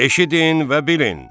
Eşidin və bilin.